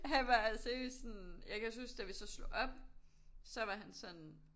Han var altså seriøst sådan jeg kan også huske da vi så slog op så var han sådan